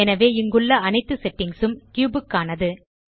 எனவே இங்குள்ள அனைத்து செட்டிங்ஸ் ம் கியூப் க்கானது